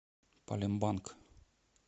палембанг